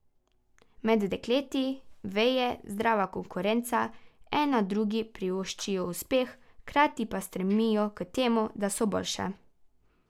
Med dekleti veje zdrava konkurenca, ena drugi privoščijo uspeh, hkrati pa stremijo k temu, da so boljše.